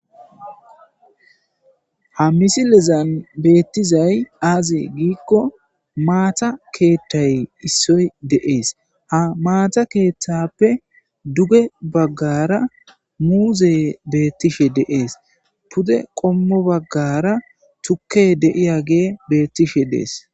Ha misilezan beettizay aazi giikko maata keethtay issoy deees ha maata keeththappe duge baggara muuze beettishe deees pude qommo baggara tukke deiya gee beettishe dees.